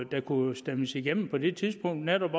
der kunne stemmes igennem på det tidspunkt netop